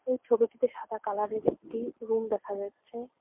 এই ছবিটিতে সাদা কালারের একটি রুম দেখা যাচ্ছে।